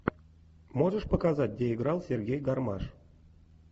можешь показать где играл сергей гармаш